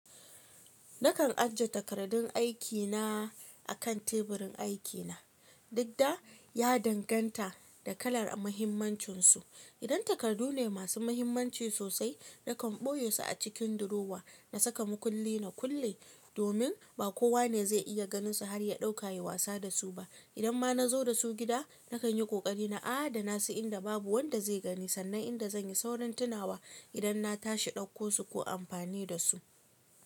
Nakan ajiye takardun aikina a kan teburin aikina, dukda ya danganta da kalar muhimmancinsu. Idan takardu ne masu muhimmanci sosai, nakan ɓoye su a cikin durowa na saka mukulli na kulle domin ba kowa ne zai iya ganinsu har ya ɗauka yayi wasa da su ba. Idan ma na zo da su gida, nakan yi ƙoƙari na adana su inda babu wanda zai gani sannan inda zan yi saurin tunawa idan na tashi ɗauko su ko amfani da su.